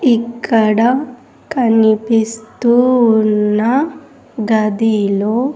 ఇక్కడ కనిపిస్తూ ఉన్న గదిలో.